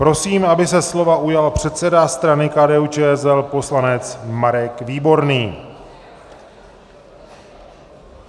Prosím, aby se slova ujal předseda strany KDU-ČSL poslanec Marek Výborný.